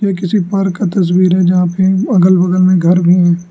किसी पार्क का तस्वीर है जहां पे अगल बगल में घर भी हैं।